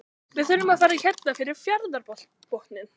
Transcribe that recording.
Við þurfum að fara hérna fyrir fjarðarbotninn.